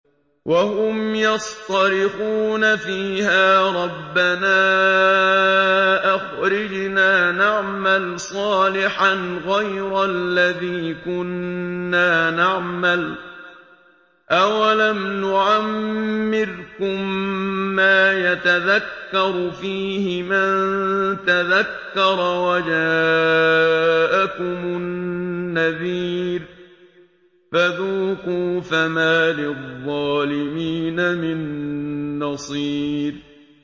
وَهُمْ يَصْطَرِخُونَ فِيهَا رَبَّنَا أَخْرِجْنَا نَعْمَلْ صَالِحًا غَيْرَ الَّذِي كُنَّا نَعْمَلُ ۚ أَوَلَمْ نُعَمِّرْكُم مَّا يَتَذَكَّرُ فِيهِ مَن تَذَكَّرَ وَجَاءَكُمُ النَّذِيرُ ۖ فَذُوقُوا فَمَا لِلظَّالِمِينَ مِن نَّصِيرٍ